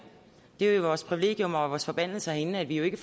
det er jo vores privilegium og vores forbandelse herinde at vi ikke